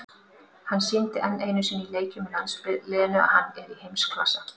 Hann sýndi enn einu sinni í leikjum með landsliðinu að hann er í heimsklassa.